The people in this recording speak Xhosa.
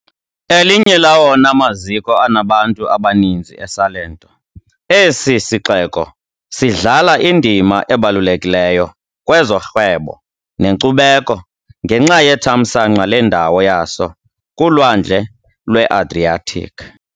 Elinye lawona maziko anabantu abaninzi eSalento, esi sixeko sidlala indima ebalulekileyo kwezorhwebo nenkcubeko, ngenxa yethamsanqa lendawo yaso kuLwandle lweAdriatic .